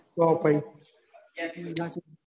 તો પછી